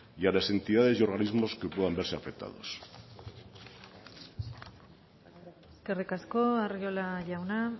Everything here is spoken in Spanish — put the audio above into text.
y a las entidades y organismos que puedan verse afectados eskerrik asko arriola jauna